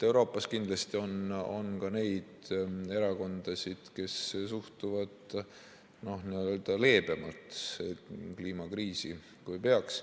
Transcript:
Euroopas kindlasti on ka neid erakondasid, kes suhtuvad kliimakriisi leebemalt, kui peaks.